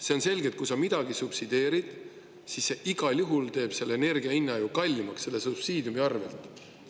See on selge, et kui sa midagi subsideerid, siis see igal juhul teeb selle energia hinna ju kallimaks selle subsiidiumi arvelt.